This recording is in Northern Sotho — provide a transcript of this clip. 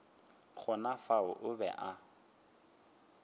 gona fao o be a